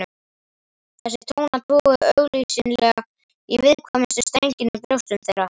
Þessir tónar toguðu augsýnilega í viðkvæmustu strengina í brjóstum þeirra.